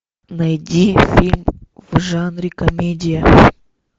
найди фильм в жанре комедия